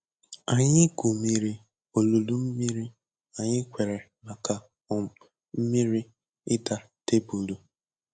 Anyị gwumiri olulu mmiri anyị kwere maka um mmiri ịda tebụlụ